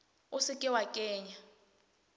o se ke wa kenya